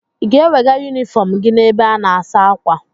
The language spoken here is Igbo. Ị ga-ewega yunifọm gị n'ebe a na-asa ákwà.